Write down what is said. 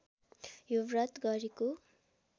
यो व्रत गरेको